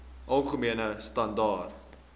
algemene standaar